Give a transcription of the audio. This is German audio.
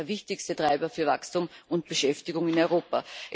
Das ist der wichtigste Treiber für Wachstum und Beschäftigung in Europa.